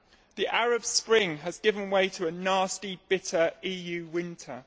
The Arab Spring has given way to a nasty, bitter EU winter.